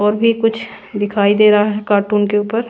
और भी कुछ दिखाई दे रहा है कार्टून के ऊपर--